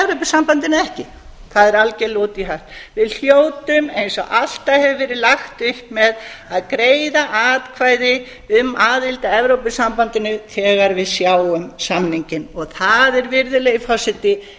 evrópusambandinu eða ekki það er algjörlega út í hött við hljótum eins og alltaf hefur verið lagt upp með að greiða atkvæði um aðild að evrópusambandinu þegar við sjáum samninginn og það er virðulegi forseti